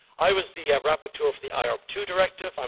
I was the rapporteur for the IORP II Directive